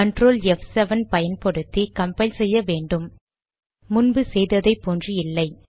Ctrl ப்7 பயன்படுத்தி compile செய்ய வேண்டும் முன்பு செய்ததை போன்று இல்லை